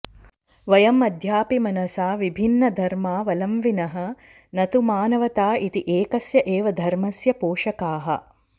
वयं अद्यापि मनसा विभिन्नधर्मावलम्विनः न तु मानवता इति एकस्य एव धर्मस्य पोषकाः